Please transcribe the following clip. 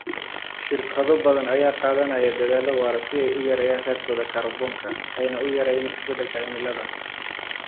Shirkado badan ayaa qaadanaya dadaallo waara si ay u yareeyaan raadkooda kaarboonka ayna u yareeyaan isbedelka cimilada.